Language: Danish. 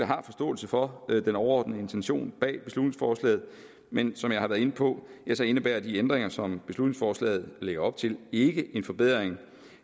har forståelse for den overordnede intention bag beslutningsforslaget men som jeg har været inde på indebærer de ændringer som beslutningsforslaget lægger op til ikke en forbedring